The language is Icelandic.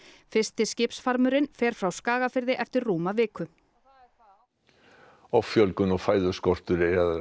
fyrsti fer frá Skagafirði eftir rúma viku og offjölgun og fæðuskortur